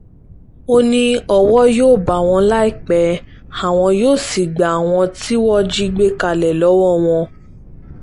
ó ní owó yóò bá wọn láìpẹ́ àwọn yóò sì gba àwọn tí wọ́n jí gbé kalẹ̀ lọ́wọ́ wọn